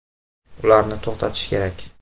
Ularni to‘xtatish kerak.